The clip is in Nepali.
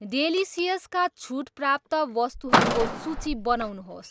डेलिसियस का छुट प्राप्त वस्तुहरूको सूची बनाउनुहोस्